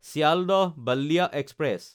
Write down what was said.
Sealdah Ballia express